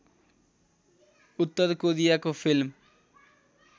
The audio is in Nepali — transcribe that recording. उत्तर कोरियाको फिल्म